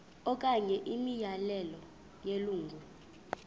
okanye imiyalelo yelungu